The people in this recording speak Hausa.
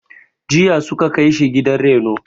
Jiya su ka kai shi gidan reno..